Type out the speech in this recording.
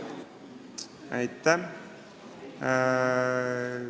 Aitäh!